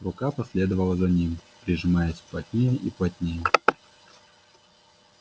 рука последовала за ним прижимаясь плотнее и плотнее